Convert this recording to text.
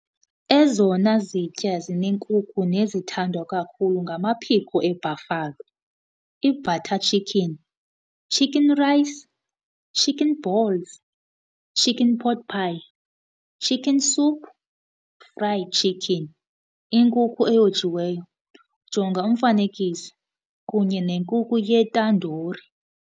Ezona zitya zinenkukhu nezithandwa kakhulu ngamaphiko eBuffalo, ibutter chicken, chicken rice, chicken balls, chicken pot pie, chicken soup, fried chicken, inkukhu eyojiweyo, jonga umfanekiso, kunye nenkukhu yetandoori.